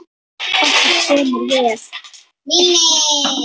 Okkur semur vel